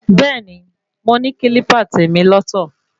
Bẹ́ẹ̀ni, mo ní kílípà tèmi lọ́ tọ̀.